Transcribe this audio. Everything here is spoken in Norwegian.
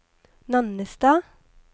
Nannestad